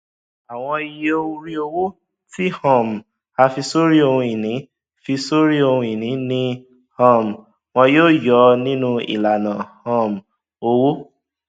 àwọn iye orí owó tí um a fi sọrí ohunìní fi sọrí ohunìní ni um wọn yóò yọ nínú ìlànà um owó